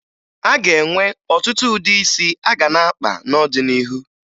A ga-enwe ọtụtụ ụdị isi a ga na-akpa n'ọdịnihu